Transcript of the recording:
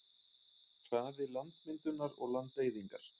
Hraði landmyndunar og landeyðingar.